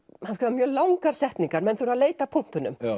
mjög langar setningar menn þurfa að leita að punktunum